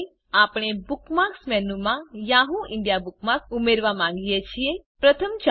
ધારો કે આપણે બુકમાર્ક્સ મેનુમાં યાહૂ ઇન્ડિયા બુકમાર્ક ઉમેરવા માંગીએ છીએ